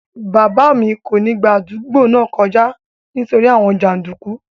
Bàbá mi kò ní gba àdúgbò náà kọjá nítorí àwọn jàndùkú